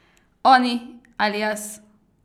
Oni ali jaz?